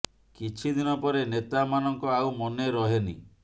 କିଛି ଦିନ ପରେ ନେତା ମାନଙ୍କ ଆଉ ମନେ ରହେନି